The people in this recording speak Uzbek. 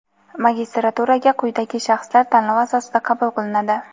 magistraturaga quyidagi shaxslar tanlov asosida qabul qilinadi:.